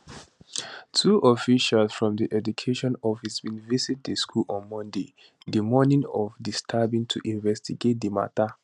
two officials from di education office bin visit di school on monday di morning of di stabbing to investigate di matter